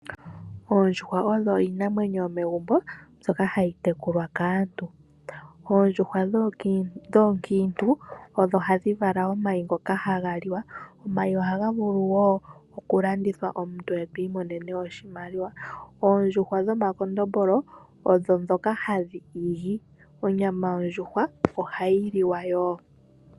Oondjuhwa odho iinamwenyo yomegumbo mbyoka hayi tekulwa kaantu. Oondjuhwa dhoonkiintu odho hadhi vala omayi ngoka haga liwa. Omayi ohaga vulu wo okulandithwa, omuntu e to imonene oshimaliwa. Oondjuhwa dhomakondombolo odho ndhoka hadhi igi. Onyama oondjuhwa ohayi liwa wo.